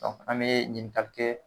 an bɛ ɲininkali kɛ